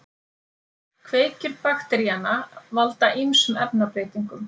Kveikjur bakteríanna valda ýmsum efnabreytingum.